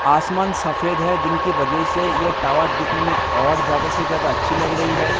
आसमान सफ़ेद है जिनकी वजह से ये टावर दिखने में और ज्यादा से ज्यादा अच्छी लग रही है ।